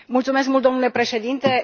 Mulțumesc mult, domnule președinte.